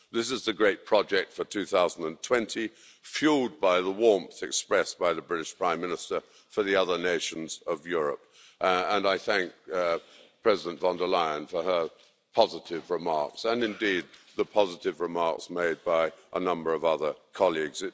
This is the great project for 2020, fuelled by the warmth expressed by the British Prime Minister for the other nations of Europe, and I thank President von der Leyen for her positive remarks and, indeed, the positive remarks made by a number of other colleagues.